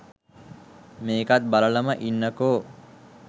මේකත් බලලම ඉන්නකෝ.